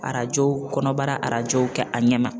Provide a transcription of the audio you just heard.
Arajo kɔnɔbara arajow kɛ a ɲɛ ma